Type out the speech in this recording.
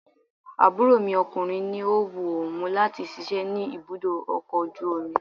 Àbúrò mi ọkùnrin ní ó wu òun láti síse ní ibùdó ọkọ̀ ojú omi.